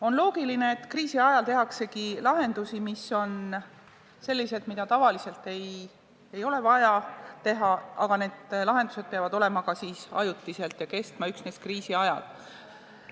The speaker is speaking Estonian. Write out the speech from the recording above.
On loogiline, et kriisii ajal tehaksegi lahendusi, mis on sellised, mida tavaliselt ei ole vaja teha, aga need lahendused peavad olema ajutised ja kestma üksnes kriisi ajal.